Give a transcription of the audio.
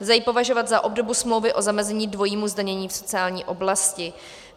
Lze ji považovat za obdobu smlouvy o zamezení dvojímu zdanění v sociální oblasti.